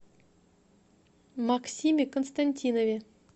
максиме константинове